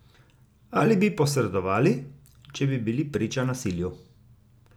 Ali bi posredovali, če bi bili priča nasilju?